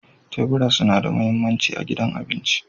Tebura suna da mahimmanci a gidan abinci.